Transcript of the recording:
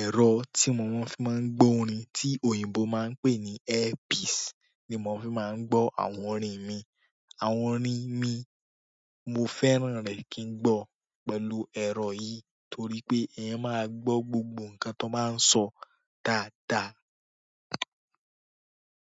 ẹ̀rọ tí mo fi máa ń gbọ́ orin, tí òyìnbó máa ń pè ní "earpiece," ni mo fi máa ń gbọ́ àwọn orin mi. Àwọn orin mi, mo fẹ́ràn rẹ kí ń gbọ́ pẹ̀lú ẹ̀rọ yìí torí pé ẹyan máa gbọ́ gbogbo nǹkan tó ba ń sọ dáadáa.